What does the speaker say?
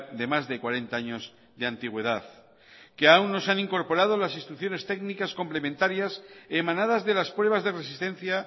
de más de cuarenta años de antigüedad que aún no se han incorporado las instrucciones técnicas complementarias emanadas de las pruebas de resistencia